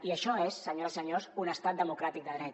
i això és senyores i senyors un estat democràtic de dret